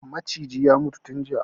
Macijin ya mutu tun jiya